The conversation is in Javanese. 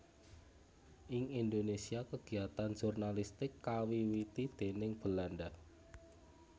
Ing Indonésia kagiatan jurnalistik kawiwiti déning Belanda